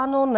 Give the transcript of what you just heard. Ano - ne.